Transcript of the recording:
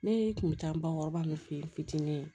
Ne kun bɛ taa bakɔrɔba min fe yen fitinin ye